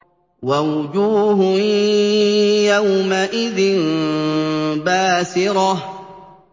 وَوُجُوهٌ يَوْمَئِذٍ بَاسِرَةٌ